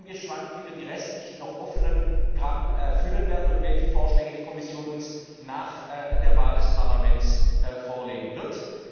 Ich bin gespannt, wie wir die restlichen noch offenen Gramm füllen werden und welche Vorschläge uns die Kommission nach der Wahl des Parlaments vorlegen wird.